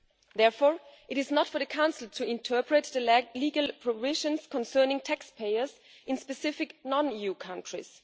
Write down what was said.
Therefore, it is not for the Council to interpret the legal provisions concerning taxpayers in specific non EU countries.